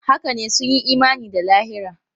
Haka ne, sun yi imani da lahira.